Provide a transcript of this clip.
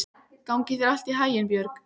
Gangi þér allt í haginn, Björg.